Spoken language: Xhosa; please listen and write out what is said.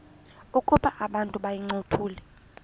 ukuba abantu bayincothule